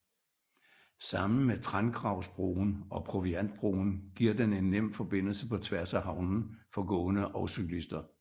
Sammen med Trangravsbroen og Proviantbroen giver den en nem forbindelse på tværs af havnen for gående og cyklister